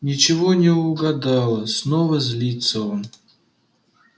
ничего не угадала снова злится он